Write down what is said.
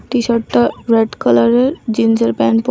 টিশার্টটা red কালারের জিন্সের pant পরা।